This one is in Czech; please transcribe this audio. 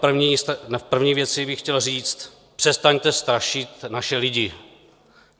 První věc bych chtěl říct: přestaňte strašit naše lidi!